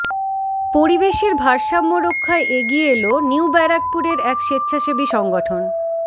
পরিবেশের ভারসাম্য রক্ষায় এগিয়ে এল নিউ ব্যারাকপুরের এক স্বেচ্ছাসেবি সংগঠন